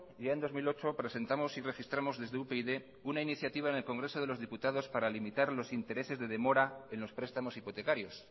ya en dos mil ocho presentamos y registramos desde upyd una iniciativa en el congreso de los diputados para limitar los intereses de demora en los prestamos hipotecarios